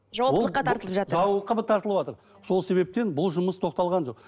жауаптылыққа тартылып жатыр жауапқа тартылыватыр сол себептен бұл жұмыс тоқталған жоқ